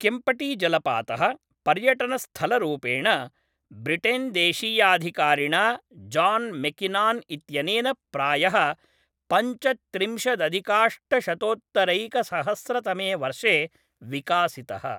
केम्पटीजलपातः, पर्यटनस्थलरूपेण, ब्रिटेन्देशीयाधिकारिणा John Mackinnon इत्यनेन प्रायः पञ्चत्रिंशदधिकाष्टशतोत्तरैकसहस्रतमे वर्षे विकासितः।